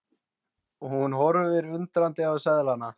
Hún horfir undrandi á seðlana.